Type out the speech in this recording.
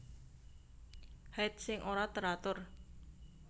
Haid sing ora teratur